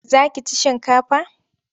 Za ki ci shinkafa?